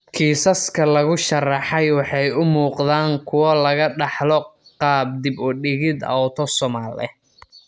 Kiisaska lagu sharraxay waxay u muuqdaan kuwo laga dhaxlo qaab dib-u-dhigid autosomal ah.